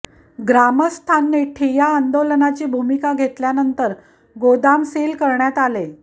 ग्रामस्थांनी ठिय्या आंदोलनाची भूमिका घेतल्यानंतर गोदाम सील करण्यात आले